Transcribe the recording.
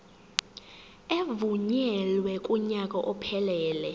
evunyelwe kunyaka ophelele